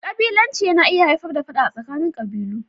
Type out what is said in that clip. ƙabilanci yana iya haifar da Fada a tsakanin qabilu.